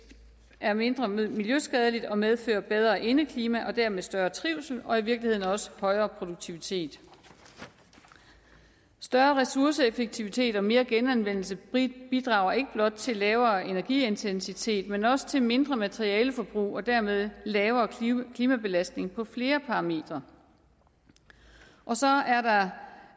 er mindre miljøskadeligt og medfører bedre indeklima og dermed større trivsel og i virkeligheden også højere produktivitet større ressourceeffektivitet og mere genanvendelse bidrager ikke blot til lavere energiintensitet men også til mindre materialeforbrug og dermed lavere klimabelastning på flere parametre og så